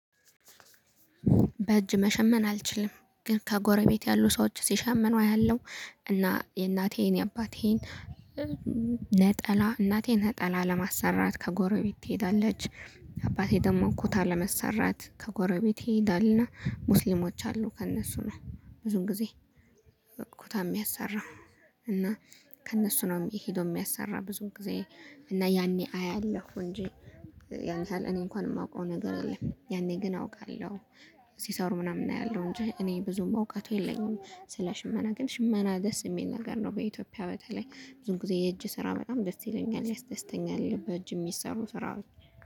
በእጅ መሸመን አልችልም ግን ከጎረቤት ያሉ ሰዎች ሲሸመኑ አያለሁ እና የእናቴን የአባቴን ነጠላ እናቴን ነጠላ ለማሰራት ከጎረቤት ትሄዳለች። አባቴ ደግሞ እኮታ ለመሰራት ከጎረቤቴ ይሄዳልና ሙስሊሞች አሉ ከእነሱ ነው። ብዙን ጊዜ ኩታ የሚያሰራው። እና ከእነሱ ነው የሚሄደው የሚያሰራ ብዙን ጊዜ እና ያኔ አያለሁ እንጂ። ያንተ ለኔ እንኳን የማውቀው ነገር የለም ያኔ ግን አውቃለሁ። ሲሰሩ ምናምን እናያለሁ እንጂ እኔ ብዙም እውቀቱ የለኝም። ስለ ሽመና ግን ሽመና ደስ የሚል ነገር ነው። በኢትዮጵያ በተለይ ብዙም ጊዜ የእጅ ስራ በጣም ደስ ይለኛል ያስደስተኛል። በእጅ የሚሰሩ ስራዎች